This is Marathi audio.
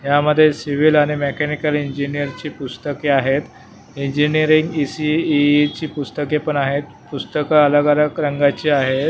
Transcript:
यामध्ये सिविल आणि मेकॅनिकल इंजिनियर ची पुस्तके आहेत इंजिनिअरिंग इ_सि_इ चि पुस्तके पण आहेत पुस्तक अलग अलग रंगाची आहेत.